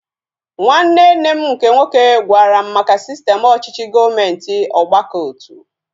Nwanne nne m nke nwoke gwara m maka sistem ọchịchị gọọmenti ọgbakọotu